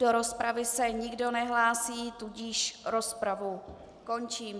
Do rozpravy se nikdo nehlásí, tudíž rozpravu končím.